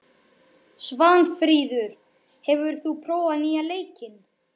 Svanfríður, hefur þú prófað nýja leikinn?